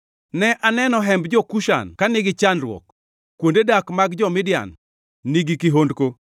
Ne aneno hemb jo-Kushan ka nigi chandruok, kuonde dak mag jo-Midian nigi kihondko.